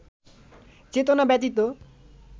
চেতনা ব্যতীত